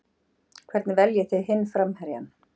Hvernig veljið þið hinn framherjann?